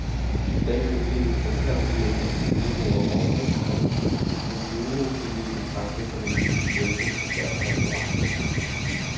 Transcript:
I dag nedlægges der tre millioner kænguruer om året, og kængurufilet betragtes som en delikatesse, især på restauranterne.